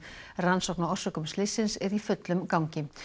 rannsókn á orsökum slyssins er í fullum gangi